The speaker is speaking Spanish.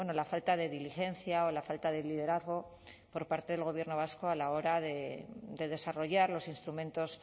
la falta de diligencia o la falta de liderazgo por parte del gobierno vasco a la hora de desarrollar los instrumentos